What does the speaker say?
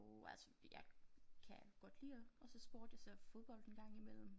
Jo altså jeg kan godt lide at se sport jeg ser fodbold en gang imellem